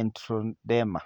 erythroderma .